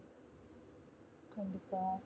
கண்டிப்பா